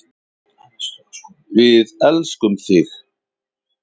Við elskum þig.